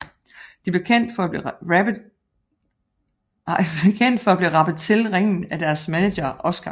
De blev kendt for at blive rappet til ringen af deres manager Oscar